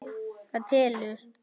Það telur.